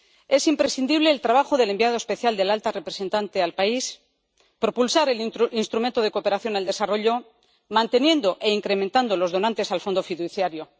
Es imprescindible el trabajo del enviado especial de la alta representante al país, propulsar el Instrumento de Cooperación al Desarrollo, y mantener e incrementar los donantes al Fondo fiduciario.